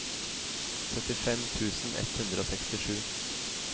syttifem tusen ett hundre og sekstisju